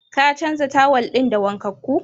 Ka canza tawal ɗin da wankakkun?